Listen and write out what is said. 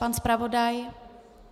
Pan zpravodaj?